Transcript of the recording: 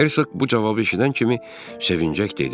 Hersoq bu cavabı eşidən kimi sevinərək dedi.